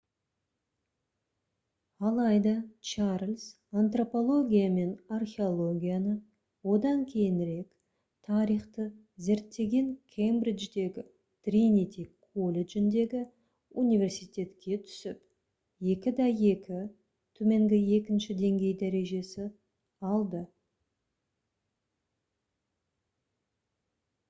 алайда чарльз антропология мен археологияны одан кейінірек тарихты зерттеген кембридждегі тринити колледжіндегі университетке түсіп 2:2 төменгі екінші деңгей дәрежесі алды